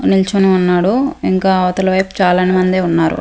నిల్చొని ఉన్నాడు ఇంకా అవతల వైపు చాలామందే ఉన్నారు.